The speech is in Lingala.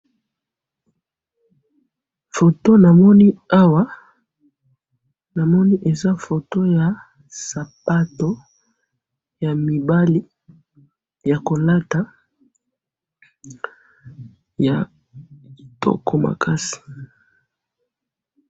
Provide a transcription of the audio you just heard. foto namoni awa namoni eza foto ya sapato ya mibali ya kolata ya kitoko makasi